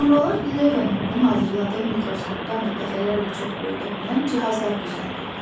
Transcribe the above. Sonralar Levenhukun hazırladığı mikroskopdan da dəfələrlə çox böyüdə bilən cihazlar düzəldildi.